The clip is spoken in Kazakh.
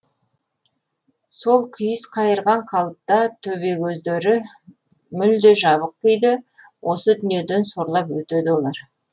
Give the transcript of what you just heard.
сол күйіс қайырған қалыпта төбекөздері мүлде жабық күйде осы дүниеден сорлап өтеді олар